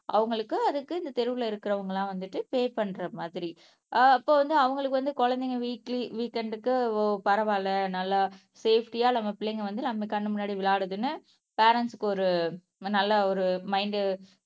அவங்களுக்கு அதுக்கு இந்த தெருவுல இருக்கிறவங்க எல்லாம் வந்துட்டு பே பண்ற மாதிரி ஆஹ் அப்ப வந்து அவங்களுக்கு வந்து குழந்தைங்க வீக்லி வீகே எண்டுக்கு பரவாயில்லை நல்லா சேப்டியா நம்ம பிள்ளைங்க வந்து நம்ம கண்ணு முன்னாடி விளையாடுதுன்னு ப்ரெண்ட்ஸ்க்கு ஒரு நல்ல ஒரு மைன்ட்